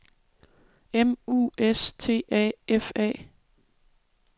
M U S T A F A